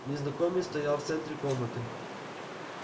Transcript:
незнакомец стоял в центре комнаты